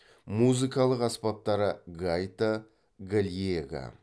музыкалық аспаптары гайта гальега